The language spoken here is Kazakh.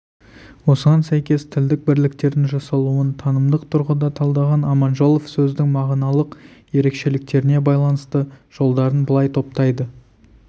осыған сәйкес тілдік бірліктердің жасалуын танымдық тұрғыда талдаған аманжолов сөздің мағыналық ерекшеліктеріне байланысты жолдарын былай топтайды